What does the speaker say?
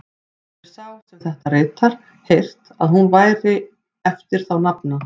Hefir sá, er þetta ritar, heyrt, að hún væri eftir þá nafna